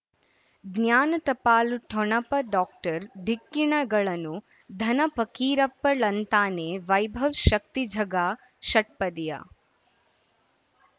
ಜ್ಞಾನ ಟಪಾಲು ಠೊಣಪ ಡಾಕ್ಟರ್ ಢಿಕ್ಕಿ ಣಗಳನು ಧನ ಫಕೀರಪ್ಪ ಳಂತಾನೆ ವೈಭವ್ ಶಕ್ತಿ ಝಗಾ ಷಟ್ಪದಿಯ